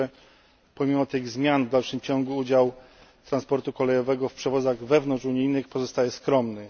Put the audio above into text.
Jednakże, pomimo tych zmian, w dalszym ciągu udział transportu kolejowego w przewozach wewnątrzunijnych pozostaje skromny.